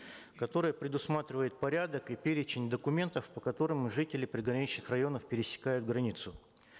которое предусматривает порядок и перечень документов по которым жители приграничных районов пересекают границу